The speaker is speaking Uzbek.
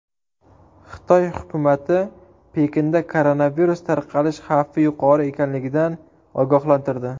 Xitoy hukumati Pekinda koronavirus tarqalish xavfi yuqori ekanligidan ogohlantirdi.